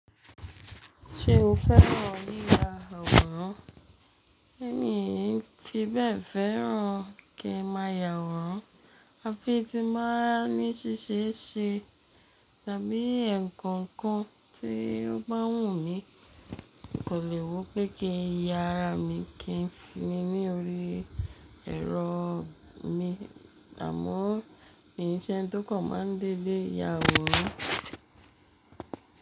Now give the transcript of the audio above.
Ṣé o fẹ́ràn yiya àwòrán? Mi fi bẹ́ẹ̀ fẹ́ràn kí n máa yàwòrán, à fi ti máa ní ṣíṣe ṣe, tàbí ekọnkan tí ó bá wù mí, mo kan lè wo pé kí n ya'rà mí kí n fi ní orí ẹ̀rọ mi, àmọ́ in se entó kàn máa ń dédé yàwòrán.